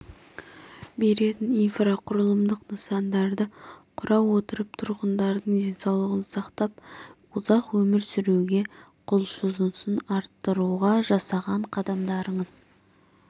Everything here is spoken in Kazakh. беретін инфрақұрылымдық нысандарды құра отырып тұрғындардың денсаулығын сақтап ұзақ өмір сүруге құлшынысын арттыруға жасаған қадамдарыңыз